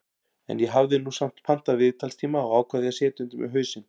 En ég hafði nú samt pantað viðtalstíma og ákvað því að setja undir mig hausinn.